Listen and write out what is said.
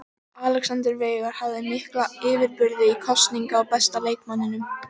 Alexander Veigar hafði mikla yfirburði í kosningu á besta leikmanninum.